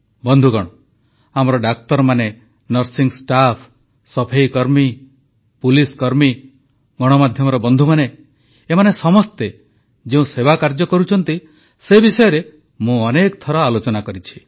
ବନ୍ଧୁଗଣ ଆମର ଡାକ୍ତରମାନେ ନର୍ସିଂ ଷ୍ଟାଫ୍ ସଫେଇକର୍ମୀ ପୁଲିସକର୍ମୀ ଗଣମାଧ୍ୟମର ବନ୍ଧୁମାନେ ଏମାନେ ସମସ୍ତେ ଯେଉଁ ସେବାକାର୍ଯ୍ୟ କରୁଛନ୍ତି ସେ ବିଷୟରେ ମୁଁ ଅନେକ ଥର ଆଲୋଚନା କରିଛି